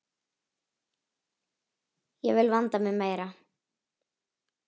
Ég vil vanda mig meira.